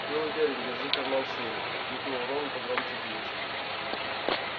был уверен держи карман шире крикнул рон погромче динча